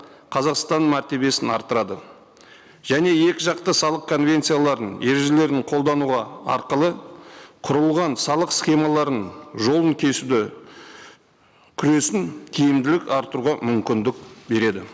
қазақстанның мәртебесін арттырады және екіжақты салық конвенцияларының ережелерін қолдануға арқылы құрылған салық схемаларын жолын кесуді күресін тиімдірек арттыруға мүмкіндік береді